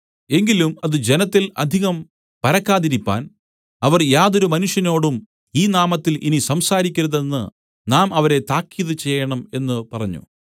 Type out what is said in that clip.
എങ്കിലും അത് ജനത്തിൽ അധികം പരക്കാതിരിപ്പാൻ അവർ യാതൊരു മനുഷ്യനോടും ഈ നാമത്തിൽ ഇനി സംസാരിക്കരുതെന്ന് നാം അവരെ താക്കീത് ചെയ്യേണം എന്ന് പറഞ്ഞു